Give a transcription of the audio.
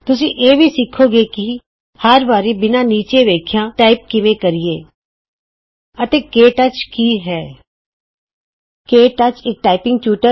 ਤੁਸੀਂ ਇਹ ਵੀ ਸਿਖੋਂ ਗੇ ਕਿ160 ਹਰ ਵਾਰੀ ਬਿਨਾਂ ਨੀਚੇ ਵੇਖਿਆਂ ਟਾਈਪ ਕਿਵੇਂ ਕਰੀਏ ਆਤੇ ਕੇ ਟੱਚ ਕੀ ਹੈ ਕੇ ਟੱਚ ਇਕ ਟਾਈਪਿੰਗ ਟਯੂਟਰ ਹੈ